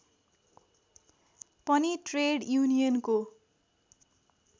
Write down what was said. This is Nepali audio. पनि ट्रेड युनियनको